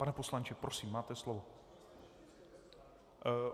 Pane poslanče, prosím, máte slovo.